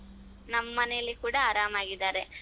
ನಮ್ ಮನೆಯಲ್ಲಿ ಕೂಡ ಆರಾಮಾಗಿದ್ದಾರೆ.